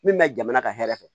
Min bɛ jamana ka hɛrɛ fɛ